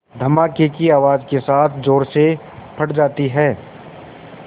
धमाके की आवाज़ के साथ ज़ोर से फट जाती है